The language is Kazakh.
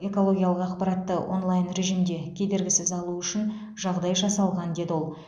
экологиялық ақпаратты онлайн режимде кедергісіз алу үшін жағдай жасалған деді ол